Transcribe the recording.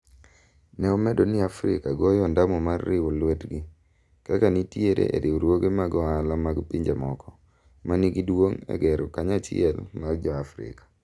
ne omedo ni Afrika goyo ondamo mar riwo lwetgi. kaka nitiere e riwruoge mag ohala mag pinje moko. ma nigi duong' e gero kanyachiel mar jo Afrika